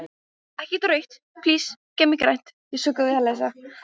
Þorbjörn, einhvern tímann þarf allt að taka enda.